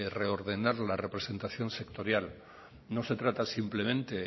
reordenar la representación sectorial no se trata simplemente